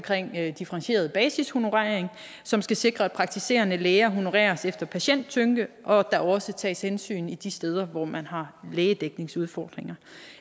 differentieret basishonorering som skal sikre at praktiserende læger honoreres efter patienttyngde og at der også tages hensyn til de steder hvor man har lægedækningsudfordringer